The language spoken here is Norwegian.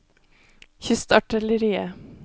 kystartilleriet